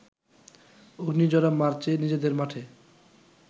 অগ্নিঝরা মার্চে নিজেদের মাঠে